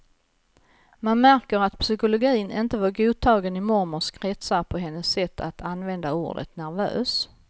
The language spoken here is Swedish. Man märker att psykologin inte var godtagen i mormors kretsar på hennes sätt att använda ordet nervös.